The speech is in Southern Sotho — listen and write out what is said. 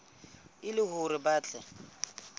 e le hore ba tle